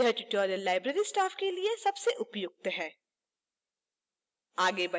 यह tutorial library staff के लिए सबसे उपयुक्त है